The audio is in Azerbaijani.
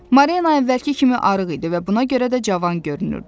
Marina əvvəlki kimi arıq idi və buna görə də cavan görünürdü.